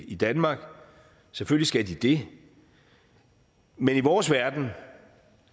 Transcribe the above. i danmark selvfølgelig skal de det men i vores verden